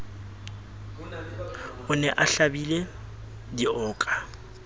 o ne a hlabile dioka